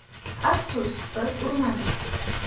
Afsus, biz urmadik.